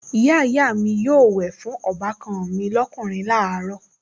Ìyáàyá mi yóò wẹ̀ fún ọbàkan mi lọ́kùnrin láàárọ̀